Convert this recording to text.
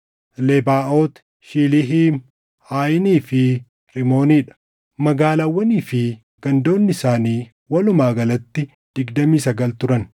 Lebaaʼoot, Shiiliihiim, Aayinii fi Rimoonii dha; magaalaawwanii fi gandoonni isaanii walumaa galatti digdamii sagal turan.